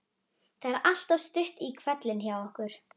Það er alltaf stutt í hvellinn hjá okkur.